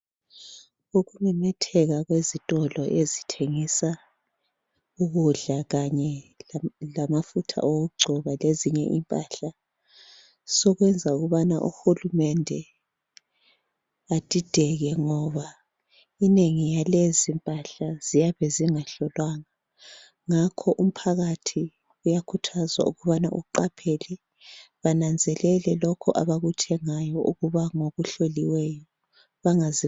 Ukumemetheka kwezitolo ezithengisa ukudla kanye lamafutha wokungcoba lezinye impahla sokwenza ukubana uhulumende adideke ngoba ubunengi balezi impahla ziyabe zingahlolwanga ngakho umphakathi uyakhuthazwa ukuba bananzelele lokho abakuthengayo ngokuhloliweyo bangazi